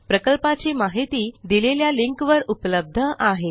प्रकल्पाची माहिती दिलेल्या लिंकवर उपलब्ध आहे